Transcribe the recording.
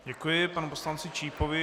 Děkuji panu poslanci Čípovi.